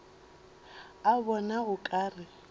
a bona o ka re